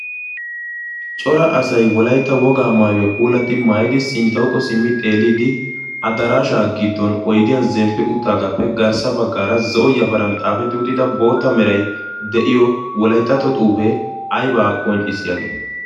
Cora asay wolaytta woga maayyuwa puulati maayyidi sinttawukko simmi xeelidi addarashsha giddon oydiyan zemppi uttagappe garssa baggaara zo'o yafaran xaafetti uttida bootta meray de'iyo Wolayttatto xuufe ayba qonccissiyaagee?